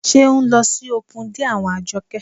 Ṣé ń lọ sí opun dé àwọn Àjọkẹ́?